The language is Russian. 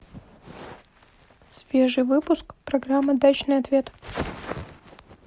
свежий выпуск программы дачный ответ